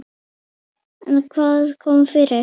En hvað kom fyrir?